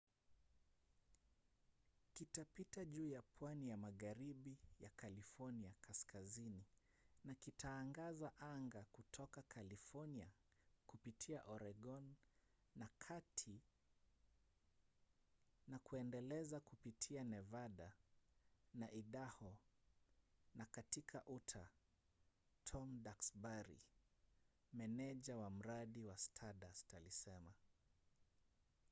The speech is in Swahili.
kitapita juu ya pwani ya magharibi ya california kaskazini na kitaangaza anga kutoka california kupitia oregon ya kati na kuendelea kupitia nevada na idaho na katika utah tom duxbury meneja wa mradi wa stardust alisema